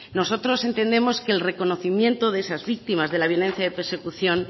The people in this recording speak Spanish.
nosotros entendemos que el reconocimiento de esas víctimas de la violencia de persecución